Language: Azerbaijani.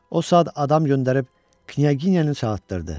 O saat adam göndərib knyaginyanı çağıtdırdı.